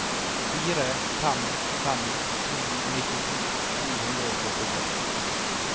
fire fem fem to nittito to hundre og førtitre